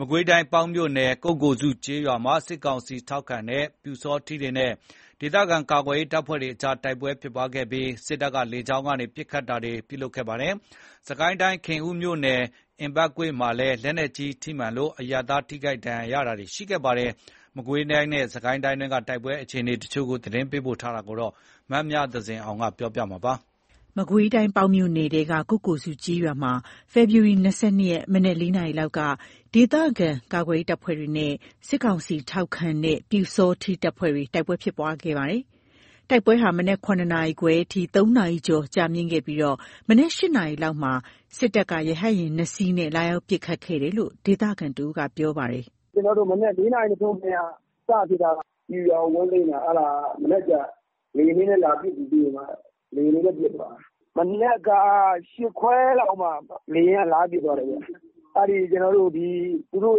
မကွေးတိုင်း၊ ပေါက်မြို့နယ်၊ ကုက္ကိုစုကျေးရွာမှာ စစ်ကောင်စီထောက်ခံတဲ့ ပျူစောထီးတွေနဲ့ ဒေသခံကာကွယ်ရေး တပ်ဖွဲ့အကြား တိုက်ပွဲဖြစ်ပွားခဲ့ပြီး စစ်တပ်က လေကြောင်းကနေ ပစ်ခတ်တာတွေ လုပ်ခဲ့ပါတယ်။ စစ်ကိုင်းတိုင်း ခင်ဦးမြို့နယ် အင်ပတ်ကွေ့မှာလည်း လက်နက်ကြီးထိမှန်လို့ အရပ်သား ထိခိုက်ဒဏ်ရာ ရတာတွေရှိခဲ့ပါတယ်။ မကွေးတိုင်းနဲ့ စစ်ကိုင်းတိုင်းတွင်း တိုက်ပွဲအခြေအနေတချို့ သတင်းပေးပို့တာကို မမြသဇင်အောင်က တင်ပြပေးပါမယ်။ မကွေးတိုင်း ပေါက်မြို့နယ်ထဲက ကုက္ကိုစုကျေးရွာမှာ ဖေဖော်ဝါရီ ၂၂ ရက် မနက် ၄ နာရီခန့်က ဒေသခံကာကွယ်ရေးတပ်ဖွဲ့တွေနဲ့ စစ်ကောင်စီထောက်ခံတဲ့ ပျူစောထီးတပ်ဖွဲ့တွေ တိုက်ပွဲဖြစ်ပွားခဲ့တာပါ။ တိုက်ပွဲဟာ မနက် ၇ နာရီခွဲအထိ ၃ နာရီကျော် ကြာမြင့်ခဲ့ပြီး မနက် ၈ နာရီလောက်မှာ စစ်တပ်က ရဟတ်ယာဉ် ၂ စီးနဲ့ လာရောက်ပစ်ခတ်ခဲ့တယ်လို့ ဒေသခံတဦးက ပြောပါတယ်။ “မနက် ၄ နာရီမထိုးခင်က စဖြစ်တာ ပျူရွာကိုဝင်သိမ်းတာ မနက်ကျ လေယောဉ်တွေနဲ့လာပစ်တာ။ မနက်က ၈ ခွဲလောက်မှာ လေယာဉ်က လာပစ်သွားတယ်။ အဲ့သူတို့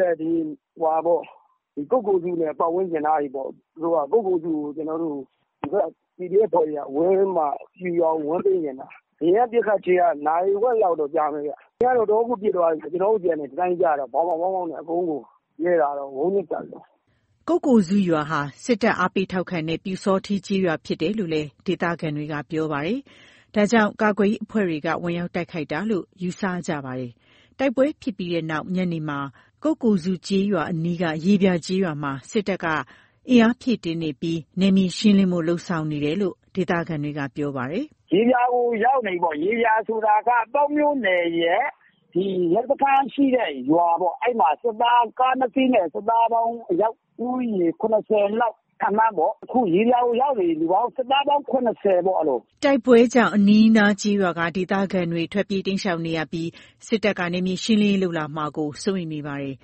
ရဲ့ ကုက္ကိုစုနဲ့ပတ်ဝန်းကျင်အနားတွေပေါ့။ သူတို့ကုက္ကိုစုကို ဒီဘက် PDF တွေက ပျူရွာကို ဝင်သိမ်းချင်တာ လေယာဉ်နဲ့ပစ်ခတ်ချိန်က နာရီဝက်လောက်တော့ ကြာမယ်။ လေယာဉ်က တော်တော်ကို ပစ်သွားတာ။ ကျွန်တော်တို့ဆီက ဒီအတိုင်းကို ကြားနေရတာ ဗောင်းဗောင်းနဲ့။” ကုက္ကိုစုရွာဟာ စစ်တပ်ကို အားပေးထောက်ခံတဲ့ ပျူစောထီးကျေးရွာဖြစ်တယ်လို့လည်း ဒေသခံတွေက ပြောပါတယ်။ ဒါကြောင့် ကာကွယ်ရေး အဖွဲ့တွေက ဝင်ရောက်တိုက်ခိုက်တာလို့ ယူဆနေကြပါတယ်။ တိုက်ပွဲဖြစ်ပွားပြီးတဲ့နောက် ညနေပိုင်းမှာ ကုက္ကိုစု ကျေးရွာအနီးက ရေပြာကျေးရွာမှာ စစ်တပ်က အင်အား ဖြည့်တင်းနေပြီး နယ်မြေရှင်းလင်းဖို့ လုပ်ဆောင်နေတယ်လို့ ဒေသခံတွေက ပြောပါတယ်။ “ရေပြာကိုရောက်နေပြီ ရေပြာဆိုတာ ပေါက်မြို့နယ်ရဲ့ ရဲစခန်းရှိတဲ့ရွာပေါ့ ကား ၂ စီးနဲ့ စစ်သားပေါင်း အယောက်ဦးရေ ၇၀ လောက် ခန့်မှန်းပေါ့ ရေပြာကိုရောက်နေပြီ စစ်သားပေါင်း ၇၀ ပေါ့။” တိုက်ပွဲကြောင့် အနီးအနားက ကျေးရွာက ဒေသခံတွေက ထွက်ပြေးတိမ်းရှောင်နေရပြီး စစ်တပ်က နယ်မြေရှင်းလင်းရေးလုပ်လာမှာကို စိုးရိမ်နေပါတယ်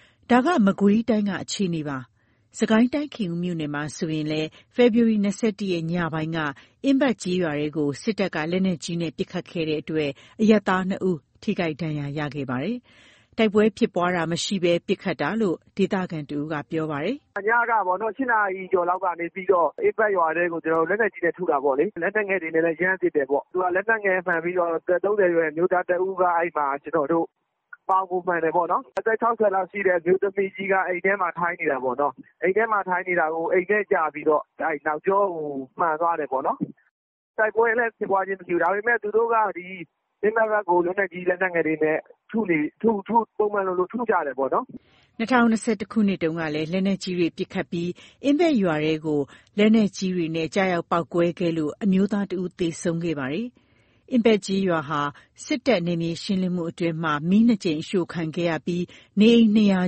။ ဒါက မကွေးတိုင်းက အခြေအနေပါ။ စစ်ကိုင်းတိုင်း ခင်ဦးမြို့နယ်မှာဆိုရင်လည်း ဖေဖော်ဝါရီ ၂၁ ရက် ညပိုင်းက အင်းပတ်ကျေးရွာထဲကို စစ်တပ်က လက်နက်ကြီးနဲ့ ပစ်ခတ်ခဲ့တဲ့အတွက် အရပ်သား ၂ ဦး ထိခိုက် ဒဏ်ရာ ရရှိခဲ့ပါတယ်။ တိုက်ပွဲဖြစ်ပွားတာမရှိဘဲ ပစ်ခတ်ခဲ့တာလို့ ဒေသခံတဦးက ပြောပါတယ်။ “ညက ၈ နာရီကျော်လောက်က အင်းပတ်ရွာထဲကို လက်နက်ကြီးနဲ့ထုတာပေါ့လေ။ လက်နက်ငယ်တွေနဲ့လည်း ရမ်းပစ်တယ်ပေါ့။ သူက လက်နက်ငယ်မှန်ပြီး အသက် ၃၀ အရွယ် အမျိုးသား တဦး ပေါင်ကိုမှန်တယ်ပေါ့နော်။ အသက် ၆၀ လောက်ရှိတဲ့ အမျိုးသမီးကြီးက အိမ်ထဲမှာ ထိုင်နေတာပေါ့နော်။ အိမ်ထဲမှာ ထိုင်နေတာကို အိမ်ထဲကျပြီးတော့ နောက်ကျောကိုမှန်သွားတယ်ပေါ့နော်။ တိုက်ပွဲလည်းဖြစ်ပွားခြင်းလည်းမရှိဘူး။ ဒါပေမယ့် သူတို့က အင်းပက်ဘက်ကို ပုံမှန်လိုလို ထုကြတယ်ပေါ့နော်။” ၂၀၂၁ ခုနှစ်တုန်းကလည်း လက်နက်ကြီးတွေ ပစ်ခတ်ပြီး အင်းပက်ရွာထဲကို လက်နက်ကြီးတွေနဲ့ကျရောက် ပေါက်ကွဲခဲ့လို့ အမျိုးသား ၁ ဦးသေဆုံးခဲ့ပါသေးတယ်။ အင်းပက်ကျေးရွာဟာ စစ်တပ်ရဲ့ နယ်မြေရှင်းလင်းမှုအတွင်း မီး ၂ ကြိမ်အရှို့ခံခဲ့ရပြီး နေအိမ် ၂၀၀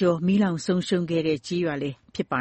ကျော်မီးလောင်ဆုံးရှုံးခဲ့တဲ့ ကျေးရွာလည်းဖြစ်ပါ